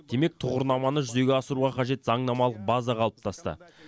демек тұғырнаманы жүзеге асыруға қажет заңнамалық база қалыптасты